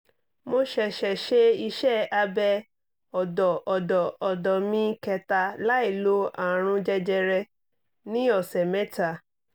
mo ṣẹ̀ṣẹ̀ ṣe iṣẹ́ abẹ́ ọ̀dọ̀ ọ̀dọ̀ ọ̀dọ̀ mi kẹta láìlo àrùn jẹjẹrẹ ní ọ̀sẹ̀ mẹ́ta